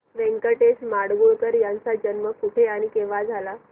व्यंकटेश माडगूळकर यांचा जन्म कुठे आणि केव्हा झाला